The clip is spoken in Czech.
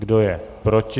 Kdo je proti?